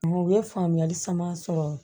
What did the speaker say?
U ye faamuyali caman sɔrɔ